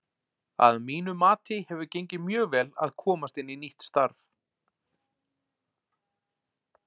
Að mínu mati hefur gengið mjög vel að komast inn í nýtt starf.